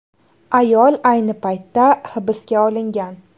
Ayol ayni paytda hibsga olingan.